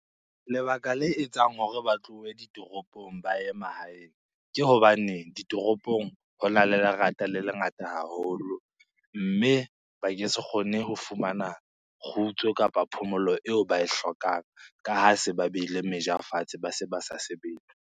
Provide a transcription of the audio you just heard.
Lebaka le etsang hore ba tlohe ditoropong ba ye mahaeng, ke hobane ditoropong hona le lerata le lengata haholo. Mme ba ke se kgone ho fumana kgutso kapa phomolo eo ba e hlokang ka ha se ba behile meja fatshe, ba se ba sa sebetse.